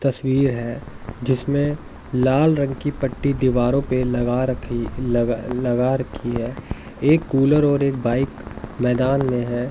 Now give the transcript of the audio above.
तस्वीर है जिसमें लाल रंग की पट्टी दीवारों पर लगा रखी लगा लगा रखी है एक कूलर और एक बाइक मैदान में है।